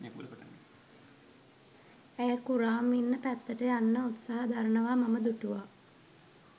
ඇය කුරාම් ඉන්න පැත්තට යන්න උත්සාහ දරනවා මම දුටුවා.